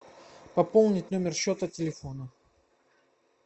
пополнить номер счета телефона